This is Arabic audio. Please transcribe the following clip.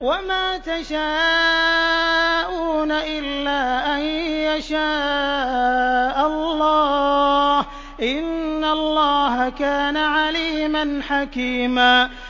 وَمَا تَشَاءُونَ إِلَّا أَن يَشَاءَ اللَّهُ ۚ إِنَّ اللَّهَ كَانَ عَلِيمًا حَكِيمًا